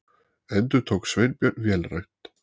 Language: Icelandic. endurtók Sveinbjörn vélrænt.